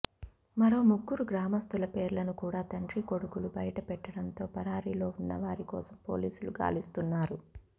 మరో ముగ్గురు గ్రామస్తుల పేర్లను కూడా తండ్రీకొడుకులు బయటపెట్టడంతో పరారీలో ఉన్న వారి కోసం పోలీసులు గాలిస్తున్నారు